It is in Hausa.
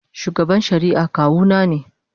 Shugaban shari'a kawuna ne.